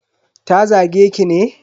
Ta zage ki ne?